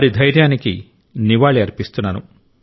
వారి ధైర్యానికి నివాళి అర్పిస్తున్నాను